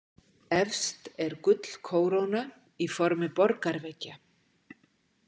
Efst er gullkóróna í formi borgarveggja.